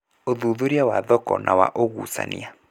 Ũthuthuria wa thoko na wa ũgucania